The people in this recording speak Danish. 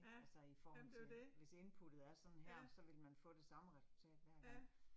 Altså i forhold til. Hvis inputtet er sådan her, så ville man få det samme resultat hver gang